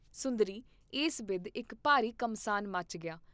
ਸੁੰਦਰੀ ਇਸ ਬਿਧ ਇਕ ਭਾਰੀ ਘਮਸਾਨ ਮਚ ਗਿਆ।